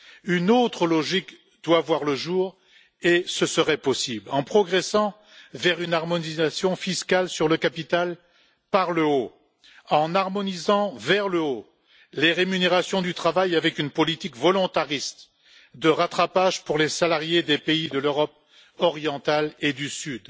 Une autre logique doit voir le jour et ce serait possible, en progressant vers une harmonisation fiscale sur le capital par le haut, en harmonisant vers le haut les rémunérations du travail avec une politique volontariste de rattrapage pour les salariés des pays de l'Europe orientale et du Sud,